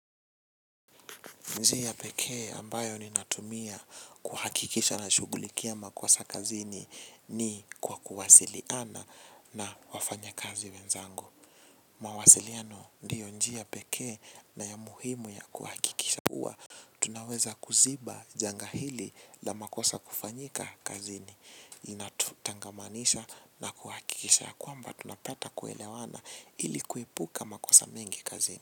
Njia pekee ambayo ninatumia kuhakikisha nashugulikia makosa kazini ni kwa kuwasiliana na wafanyakazi wenzangu. Mawasiliano ndiyo njia pekee na ya muhimu ya kuhakikisha kuwa. Tunaweza kuziba janga hili la makosa kufanyika kazini. Inatutangamanisha na kuhakikisha ya kwamba tunapata kuelewana ili kuepuka makosa mingi kazini.